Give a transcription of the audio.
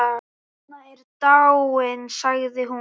Anna er dáin sagði hún.